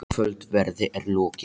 Kvöldverði er lokið.